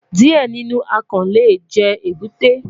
Diẹ ninu akàn le jẹ ebute